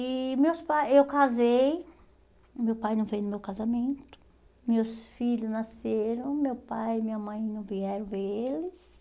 E meus pai, eu casei, meu pai não veio no meu casamento, meus filhos nasceram, meu pai e minha mãe não vieram ver eles.